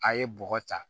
A ye bɔgɔ ta